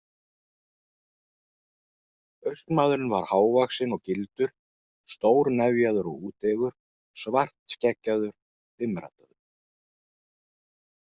Austmaðurinn var hávaxinn og gildur, stórnefjaður og úteygur, svartskeggjaður, dimmraddaður.